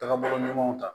Tagabolo ɲumanw ta